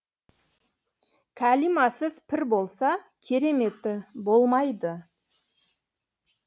кәлимасыз пір болса кереметі болмайды